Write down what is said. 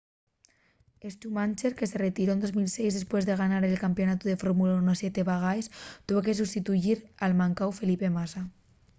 schumacher que se retiró en 2006 depués de ganar el campeonatu de fórmula 1 siete vegaes tuvo que sustituyir al mancáu felipe massa